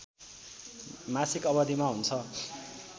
मासिक अवधिमा हुन्छ